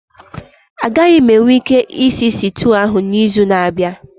Agaghị m enwe ike ịsị sịtịụ ahụ n'izu na-abịa